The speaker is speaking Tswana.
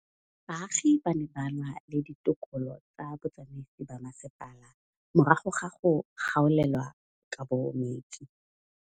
Baagi ba ne ba lwa le ditokolo tsa botsamaisi ba mmasepala morago ga go gaolelwa kabo metsi